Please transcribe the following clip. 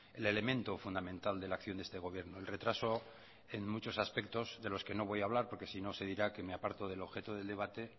el elemento fundamental de la acción de este gobierno el retraso en muchos aspectos de los que no voy a hablar porque si no se dirá que me aparto del objeto del debate